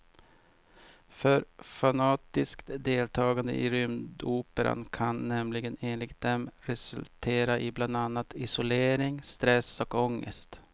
För fanatiskt deltagande i rymdoperan kan nämligen enligt dem resultera i bland annat isolering, stress och ångest.